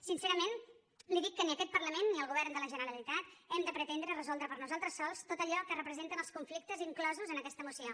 sincerament li dic que ni aquest parlament ni el govern de la generalitat hem de pretendre resoldre per nosaltres sols tot allò que representen els conflictes inclosos en aquesta moció